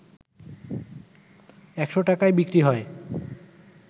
১০০ টাকায় বিক্রি হয়